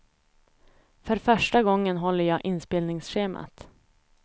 För första gången håller jag inspelningsschemat.